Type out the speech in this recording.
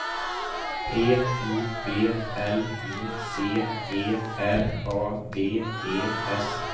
P U B L I C E R A D E S